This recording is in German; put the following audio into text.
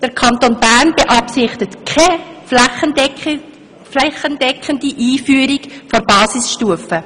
Der Kanton Bern beabsichtigt keine flächendeckende Einführung der Basisstufe.